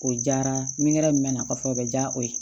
O diyara n ye nkɛrɛ min mɛ na kɔsɔbɛ o bɛ diya o ye